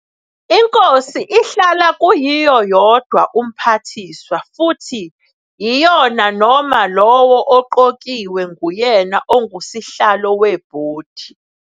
INkosi ihlala kuyiyo yodwa umphathiswa futhi yiyona noma lowo oqokiwe nguyena ongusihlalo weBhodi.